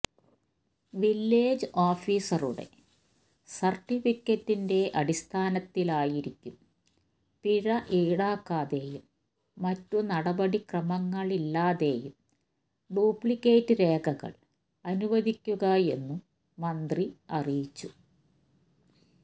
village ഓഫീസറുടെ സർട്ടിഫിക്കറ്റിന്റെ അടിസ്ഥാനത്തിലായിരിക്കും പിഴ ഈടാക്കാതെയും മറ്റു നടപടിക്രമങ്ങളില്ലാതെയും ഡ്യൂപ്ലിക്കേറ്റ് രേഖകൾ അനുവദിക്കുകയെന്നും മന്ത്രി അറിയിച്ചു